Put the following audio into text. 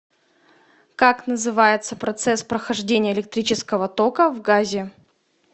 как называется процесс прохождения электрического тока в газе